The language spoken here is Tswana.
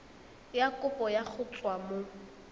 ya kopo go tswa mo